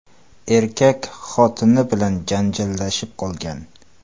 Erkak xotini bilan janjallashib qolgan.